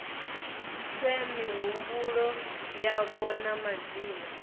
fhe mihumbulo yavho na madzina